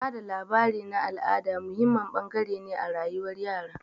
Ba da labari na al'ada muhimmin bangare ne a rayuwar yara.